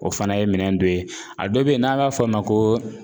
O fana ye minɛn dɔ ye a dɔ bɛ yen n'an b'a fɔ o ma ko